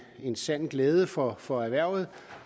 en sand glæde for for erhvervet